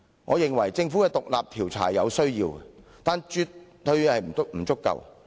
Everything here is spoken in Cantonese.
我認為政府的獨立調查有其必要，但絕對不足夠。